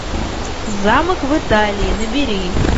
замок в италии набери